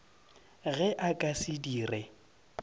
ge a ka se dire